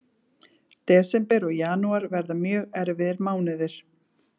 Desember og janúar verða mjög erfiðir mánuðir.